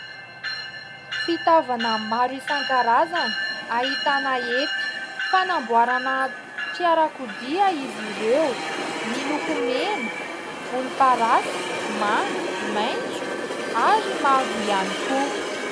Fitaovana maro isankarazany ahitana hety. Fanamboarana fiarakodia izy ireo, miloko mena, volomparasy, manga, mena, maintso ary mavo ihany koa.